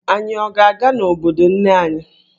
Anyị ọ ga-aga n'obodo nne anyị?